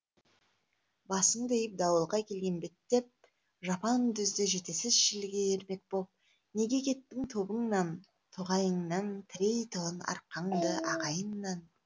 басыңды иіп дауылға келген беттеп жапан дүзде жетесіз желге ермек боп неге кеттің тобыңнан тоғайыңнан тірейтұғын арқаңды ағайыннан